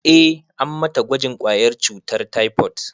Eh, an mata gwajin ƙwayar cutar taifot